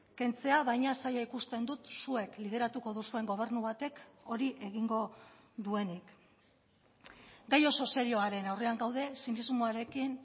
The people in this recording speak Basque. kentzea baina zaila ikusten dut zuek lideratuko duzuen gobernu batek hori egingo duenik gai oso serioaren aurrean gaude zinismoarekin